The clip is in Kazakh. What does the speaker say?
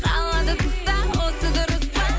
қалады тыста осы дұрыс па